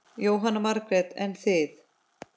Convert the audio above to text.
Jóhanna Margrét: En þið?